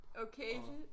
Okay